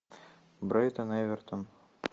брайтон эвертон